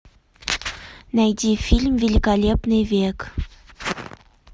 найди фильм великолепный век